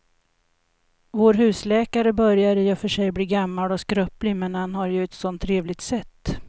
Vår husläkare börjar i och för sig bli gammal och skröplig, men han har ju ett sådant trevligt sätt!